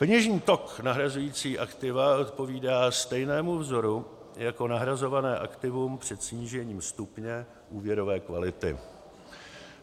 peněžní tok nahrazujícího aktiva odpovídá stejnému vzoru jako nahrazované aktivum před snížením stupně úvěrové kvality;